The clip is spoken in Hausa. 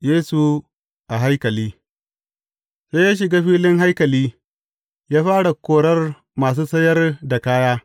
Yesu a haikali Sai ya shiga filin haikali, ya fara korar masu sayar da kaya.